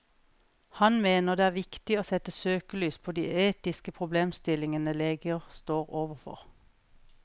Han mener det er viktig å sette søkelys på de etiske problemstillingene leger står overfor.